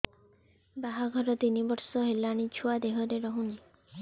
ବାହାଘର ତିନି ବର୍ଷ ହେଲାଣି ଛୁଆ ଦେହରେ ରହୁନି